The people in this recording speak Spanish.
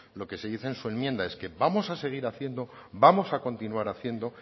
lo que se dice en su enmienda es que vamos a seguir haciendo vamos a continuar haciendo